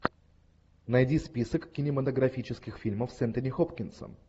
найди список кинематографических фильмов с энтони хопкинсом